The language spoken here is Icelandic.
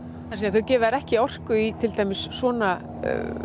þau gefa þér ekki orku í til dæmis svona